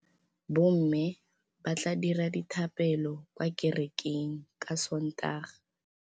Bommê ba tla dira dithapêlô kwa kerekeng ka Sontaga.